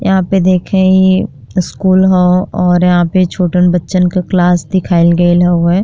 यहाँँ पे देखें ये स्कूल ह और यहाँँ पे छोटन बच्चन क क्लास दिखाईल गइल हउवे।